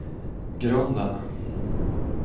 grunden